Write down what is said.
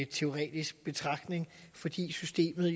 teoretisk betragtning fordi systemet